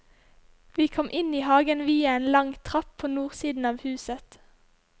Vi kom inn i hagen via en lang trapp på nordsiden av huset.